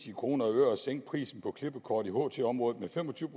i kroner og øre at sænke prisen på klippekort i ht området med fem og tyve